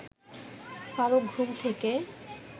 ফারুক ঘুম থেকে